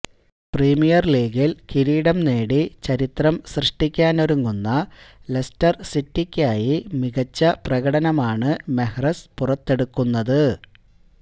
premier ലീഗില് കിരീടം നേടി ചരിത്രം സൃഷ്ടിക്കാനൊരുങ്ങുന്ന ലെസ്റ്റര് സിറ്റിയ്ക്കായി മികച്ച പ്രകടനമാണ് മെഹ്റസ് പുറത്തെടുക്കുന്നത്